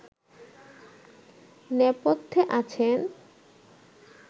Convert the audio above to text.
নেপথ্যে আছেন